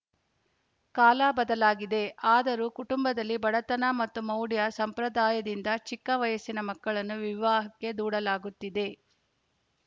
ಕಾಲ ಬದಲಾಗಿದೆ ಆದರೂ ಕುಟುಂಬದಲ್ಲಿ ಬಡತನ ಮತ್ತು ಮೌಢ್ಯ ಸಂಪ್ರಧಾಯದಿಂದ ಚಿಕ್ಕ ವಯಸ್ಸಿನ ಮಕ್ಕಳನ್ನು ವಿವಾಹಕ್ಕೆ ದೂಡಲಾಗುತ್ತಿದೆ